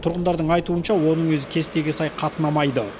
тұрғындардың айтуынша оның өзі кестеге сай қатынамайды